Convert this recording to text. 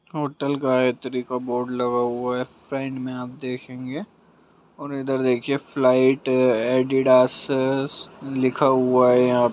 Hotel Gayatri का board लगा हुवा है। साइड में आप देंखेंगे और इधर देखिए फ्लाइट एडीडास-- लिखा हुआ है यहां--